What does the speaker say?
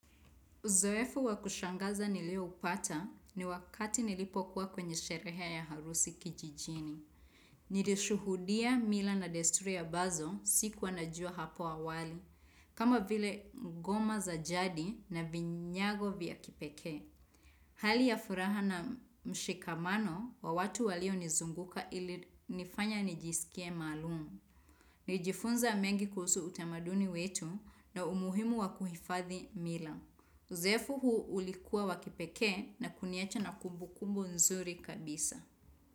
Uzoefu wa kushangaza nilioupata ni wakati nilipokuwa kwenye sherehe ya harusi kijijini. Nilishuhudia mila na desturi ambazo sikuwa najua hapo awali. Kama vile ngoma za jadi na vinyago vya kipekee. Hali ya furaha na mshikamano wa watu walionizunguka ilinifanya nijisikie maalum. Nilijifunza mengi kuhusu utamaduni wetu na umuhimu wa kuhifadhi mila. Uzefu huu ulikuwa wa kipekee na kuniacha na kumbukumbu nzuri kabisa.